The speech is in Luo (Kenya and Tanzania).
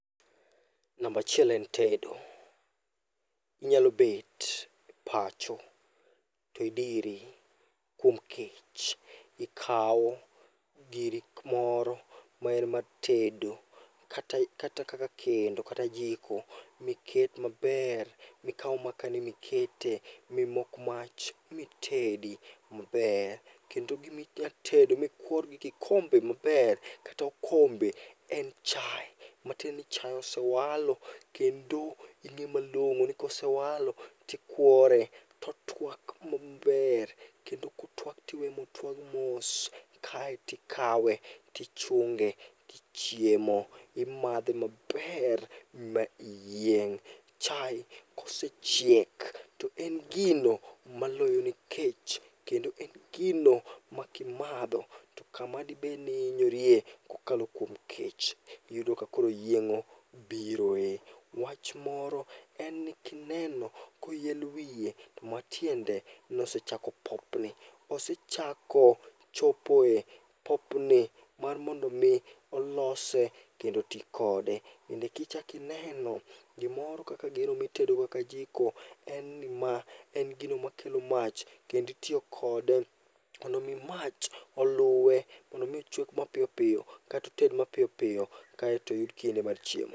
Nambachiel en tedo: inyalobet e pacho tidiri kuom kech. Ikawo giro moro maen mar tedo kata kaka kendo kata jiko. Miket maber mikaw makane mikete mimok mach mitedi maber. Kendo giminyatedo mikwor gi kikombe maber kat okombe, en chae. Matieni chae osewalo kendo ing'e malong'o ni kosewalo tikwore, totwak maber. Kendo kotwak tiwe motwag mos, kaetikawe tichunge tichiemo, imadhe maber ma iyieng'. Chae kosechiek to en gino maloyoni kech, kendo en gino ma kimadho to kamadibedni iinyorie kokalo kuom kech, iyudo ka koro yieng'o biroe. Wach moro en ni kineno koyel wiye, to matiende nosechako popni. Osechako chopoe popni mar mondo mi olose kendo tikode. Kendo kichakineno gimoro mitedogo kaka jiko, en ni ma en gino makelo mach kenditiyo kode mondo mi mach oluwe. Mondo mi ochwek mapiyopiyo, katoted mapiyopiyo kaeto oyud kinde mar chiemo.